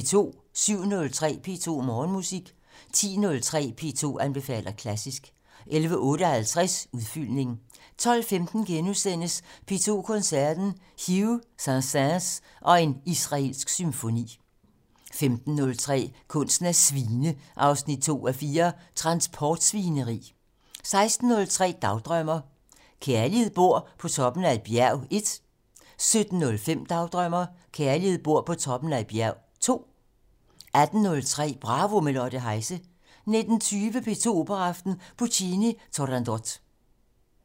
07:03: P2 Morgenmusik 10:03: P2 anbefaler klassisk 11:58: Udfyldning 12:15: P2 Koncerten - Hough, Saint-Saëns og en israelsk symfoni * 15:03: Kunsten at svine 2:4 - Transportsvineri 16:03: Dagdrømmer: Kærligheden bor på toppen af et bjerg 1 17:05: Dagdrømmer: Kærligheden bor på toppen af et bjerg 2 18:03: Bravo - med Lotte Heise 19:20: P2 Operaaften - Puccini: Turandot